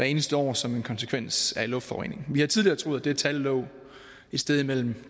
eneste år som en konsekvens af luftforurening vi har tidligere troet at det tal lå et sted mellem